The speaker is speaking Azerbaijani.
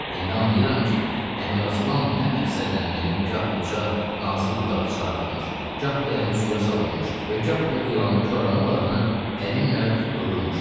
İndi anlayıram ki, Əmiraslan nə məqsədlə məni gah uca nazik budağa çıxardırmış, gah dərin suya salırmış və gah da ilanı koramal adına əlimlə tutdururmuş.